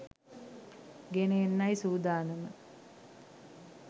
ගෙන එන්නයි සූදානම